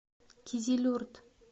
кизилюрт